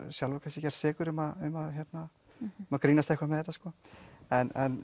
sjálfur kannski gerst sekur um að grínast eitthvað með þetta sko en